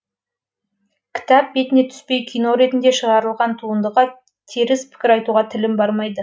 кітап бетіне түспей кино ретінде шығарылған туындыға теріс пікір айтуға тілім бармайды